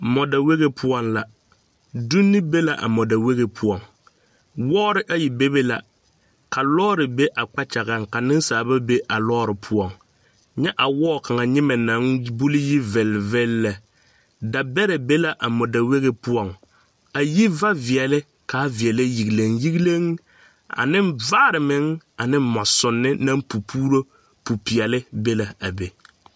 Mɔdawegi pʋɔ la. Donne be la a mɔdawegi pʋɔŋ. Wɔɔre ayi bebe la are ka lɔɔre be a kpakyaga pʋɔ kyɛ ka niŋsaaba be a lɔɔre pʋɔŋ. A wɔɔ kaŋa nyimɛ bulyie la gamgam lɛ. Tebɛrɛ be la a mɔdawegi pʋɔ a taa vaare ka a veɛlɛ yigleŋ yigleŋ ane mʋɔ naŋ pupuure.